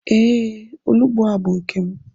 E, onugbu a bú nkem